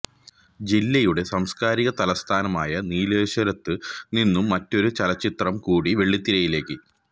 ജില്ലയുടെ സാംസ്കാരിക തലസ്ഥാനമായ നീലേശ്വരത്ത് നിന്നും മറ്റൊരു ചലച്ചിത്രം കൂടി വെള്ളിത്തിരയിലേക്ക്